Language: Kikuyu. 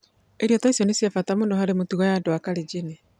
Irio ta icio nĩ cia bata mũno harĩ mĩtugo ya andũ a Kalenjin.